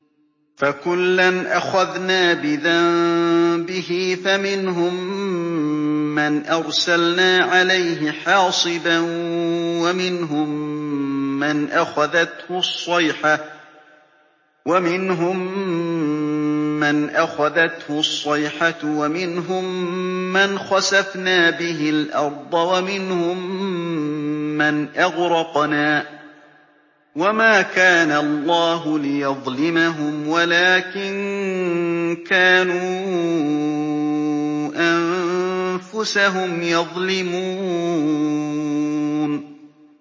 فَكُلًّا أَخَذْنَا بِذَنبِهِ ۖ فَمِنْهُم مَّنْ أَرْسَلْنَا عَلَيْهِ حَاصِبًا وَمِنْهُم مَّنْ أَخَذَتْهُ الصَّيْحَةُ وَمِنْهُم مَّنْ خَسَفْنَا بِهِ الْأَرْضَ وَمِنْهُم مَّنْ أَغْرَقْنَا ۚ وَمَا كَانَ اللَّهُ لِيَظْلِمَهُمْ وَلَٰكِن كَانُوا أَنفُسَهُمْ يَظْلِمُونَ